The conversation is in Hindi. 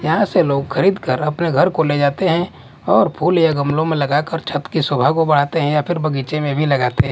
यहां से लोग खरीद कर अपने घर को ले जाते हैं और फूल या गमलों में लगाकर छत के शोभा को बढ़ाते हैं या फिर बगीचे में भी लगाते हैं।